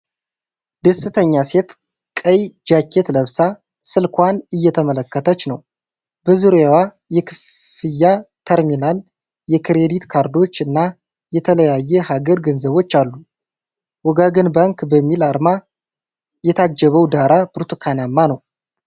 ደስተኛ ሴት ቀይ ጃኬት ለብሳ ስልክዋን እየተመለከተች ነው። በዙሪያዋ የክፍያ ተርሚናል፣ የክሬዲት ካርዶች እና የተለያየ ሀገር ገንዘቦች አሉ። "ወጋገን ባንክ" በሚል አርማ የታጀበው ዳራ ብርቱካናማ ነው።